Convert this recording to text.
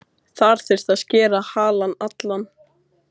Þar þyrfti að skera halann allan.